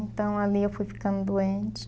Então, ali eu fui ficando doente.